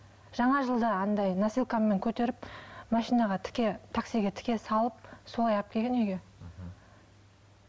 жана жылда андай носилкамен көтеріп машинаға тіке таксиге тіке салып солай алып келген үйге мхм